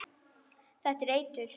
Þetta er eitur.